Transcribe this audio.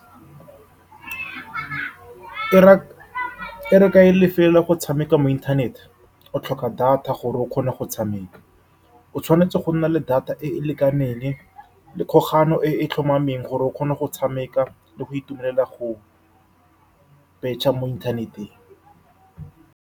Ke e ra, ka e , go tshameka mo inthaneteng o tlhoka data gore o kgone go tshameka. O tshwanetse go nna le data e e lekaneng le kgolagano e e tlhomameng gore o kgone go tshameka le go itumelela go betšha mo inthaneteng.